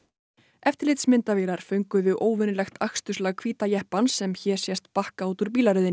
eftirlitsmyndavélar fönguðu óvenjulegt aksturslag hvíta jeppans sem hér sést bakka út úr